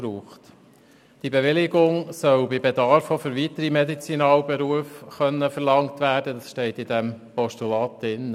Diese Betriebsbewilligung soll gemäss Postulat bei Bedarf auch für weitere Medizinalberufe verlangt werden können.